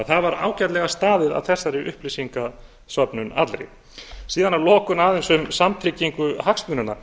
það var því ágætlega staðið að þessari upplýsingasöfnun allri síðan að lokum aðeins um samtryggingu hagsmunanna